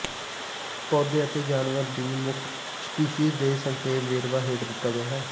ਪੌਦੇ ਅਤੇ ਜਾਨਵਰ ਦੀ ਮੁੱਖ ਸਪੀਸੀਜ਼ ਦੇ ਸੰਖੇਪ ਵੇਰਵਾ ਹੇਠ ਦਿੱਤਾ ਗਿਆ ਹੈ